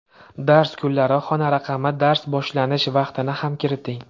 Dars kunlari, xona raqami, dars boshlanish vaqtini ham kiriting.